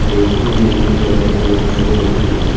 रैकों अनेक प्रकार की वस्तुएं रखी हुई है।